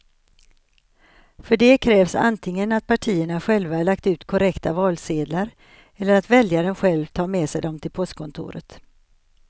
För det krävs antingen att partierna själva lagt ut korrekta valsedlar eller att väljaren själv tar med sig dem till postkontoret.